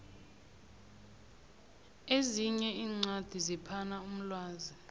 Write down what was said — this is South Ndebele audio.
ezinye iincwadi ziphana umlwazi